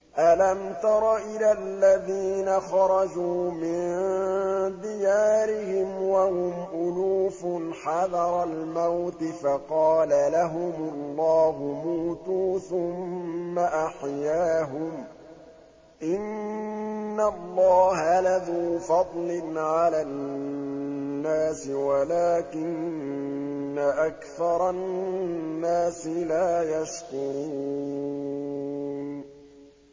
۞ أَلَمْ تَرَ إِلَى الَّذِينَ خَرَجُوا مِن دِيَارِهِمْ وَهُمْ أُلُوفٌ حَذَرَ الْمَوْتِ فَقَالَ لَهُمُ اللَّهُ مُوتُوا ثُمَّ أَحْيَاهُمْ ۚ إِنَّ اللَّهَ لَذُو فَضْلٍ عَلَى النَّاسِ وَلَٰكِنَّ أَكْثَرَ النَّاسِ لَا يَشْكُرُونَ